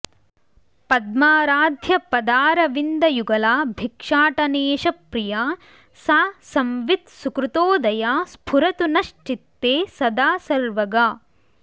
पद्माराध्यपदारविन्दयुगला भिक्षाटनेशप्रिया सा संवित् सुकृतोदया स्फुरतु नश्चित्ते सदा सर्वगा